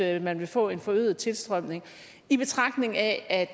at man vil få en forøget tilstrømning i betragtning af at